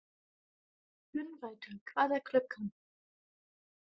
Gunnvaldur, hvað er klukkan?